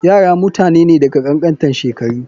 Yara mutane ne da kankantan shekaru.